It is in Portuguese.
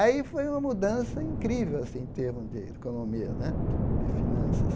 Aí foi uma mudança incrível assim em termos de economia né, de finanças.